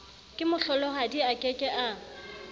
kemohlolohadi a ke ke a